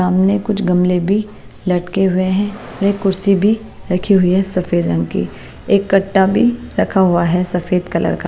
सामने कुछ गमले भी लटके हुए हैं एक कुर्सी भी रखी हुई है सफेद रंग की एक कट्टा भी रखा हुआ है सफेद कलर का--